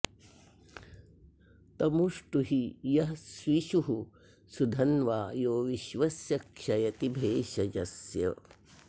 तमु ष्टुहि यः स्विषुः सुधन्वा यो विश्वस्य क्षयति भेषजस्य